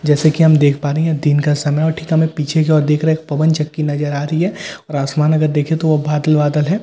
जैसे कि हम देख पा रहे है यह दिन का समय है और ठीक हमें पीछे जो दिख रहा है एक पवन चक्‍की नजर आ रही है और आसमान अगर देखे तो वो बादल बादल है ।